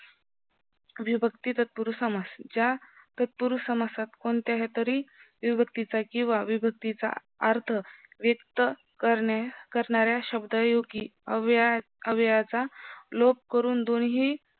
विभक्ती तत्पुरुस समास ज्या तत्पुरुस समासात कोणत्या तरी विभक्तीचा किव्हा, विभक्तीचा अर्थ व्यक्त करणाऱ्या शब्दायोगी अव्यय अव्ययाचा लोप करून दोन्हीही